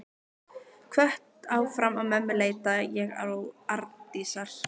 Hvött áfram af mömmu leita ég Arndísar.